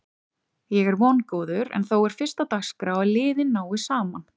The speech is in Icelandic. Ég er vongóður en þó er fyrst á dagskrá að liðin nái saman.